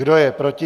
Kdo je proti?